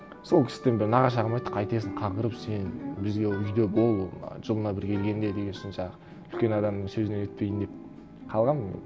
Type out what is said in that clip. сол кісіден бір нағашы ағам айтты қайтесің қаңғырып сен бізге үйде бол мына жылына бір келгенде деген соң жаңағы үлкен адамның сөзіне нетпейін деп қалғанмын